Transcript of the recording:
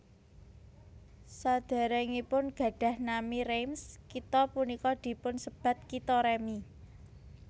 Sadèrèngipun gadhah nami Reims kitha punika dipunsebat Kitha Remi